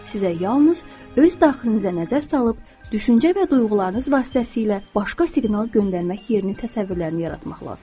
Sizə yalnız öz daxilinizə nəzər salıb, düşüncə və duyğularınız vasitəsilə başqa siqnal göndərmək yerinə təsəvvürlərini yaratmaq lazımdır.